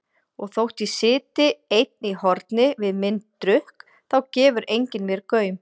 Og þótt ég sitji einn í horni við minn drukk þá gefur enginn mér gaum.